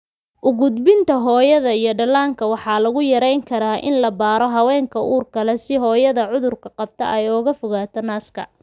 U gudbinta hooyada iyo dhallaanka waxaa lagu yarayn karaa in la baaro haweenka uurka leh si hooyada cudurka qabta ay uga fogaato naaska.